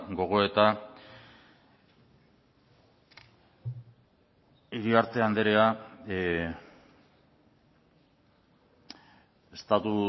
gogoeta iriarte andrea estatu